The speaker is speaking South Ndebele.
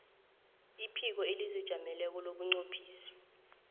iphiko elizijameleko lobunqophisi